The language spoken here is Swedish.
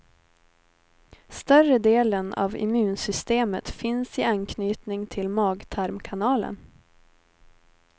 Större delen av immunsystemet finns i anknytning till magtarmkanalen.